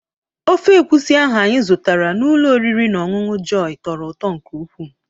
Ofe egwusi ahụ anyị zụtara n'ụlọ oriri na ọñụñụ Jọyi tọrọ ụtọ nke ukwuu.